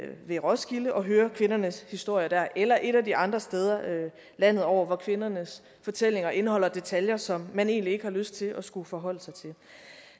ved roskilde og høre kvindernes historier der eller et af de andre steder landet over hvor kvindernes fortællinger indeholder detaljer som man egentlig ikke har lyst til at skulle forholde sig til